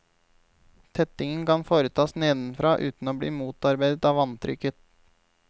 Tettingen kan nå foretas nedenfra uten å bli motarbeidet av vanntrykket.